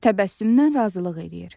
Təbəssümlə razılıq eləyir.